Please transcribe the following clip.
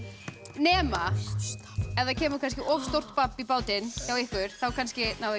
nema ef það kemur of stórt babb í bátinn hjá ykkur þá kannski náið